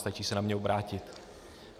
Stačí se na mě obrátit.